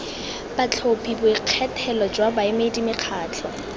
batlhophi boikgethelo jwa baemedi mekgatlho